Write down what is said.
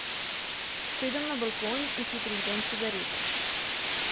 Sedem na balkon in si prižgem cigareto.